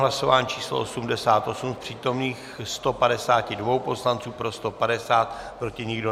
Hlasování číslo 88, z přítomných 152 poslanců pro 150, proti nikdo.